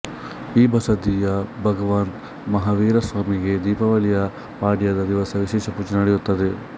ಈ ಬಸದಿಯ ಭಗವಾನ್ ಮಹಾವೀರಸ್ವಾಮಿಗೆ ದೀಪಾವಳಿಯ ಪಾಡ್ಯದ ದಿವಸ ವಿಶೇಷ ಪೂಜೆ ನಡೆಯುತ್ತದೆ